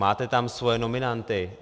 Máte tam svoje nominanty.